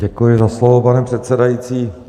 Děkuji za slovo, pane předsedající.